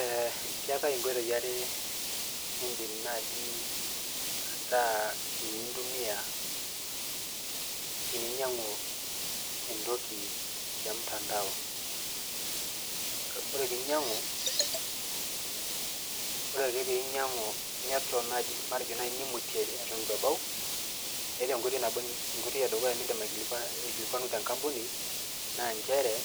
Eh keetae inkoitoi are, nidim naji ataa ninche intumia teninyang'u entoki temtandao. Ore pinyang'u, ore ake pinyang'u neton naji, matejo naji nimutie eton itu ebao, eeta enkoitoi nabo, enkoitoi edukuya nidim aikilikwanu tenkampuni, naa njere,